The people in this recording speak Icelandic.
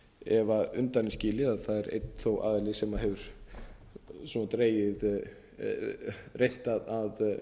ef undan er skilið að það er einn þó aðili sem hefur reynt að